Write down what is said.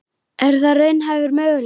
Er það raunhæfur möguleiki?